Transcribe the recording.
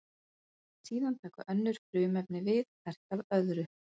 Síðan taka önnur frumefni við hvert af öðru.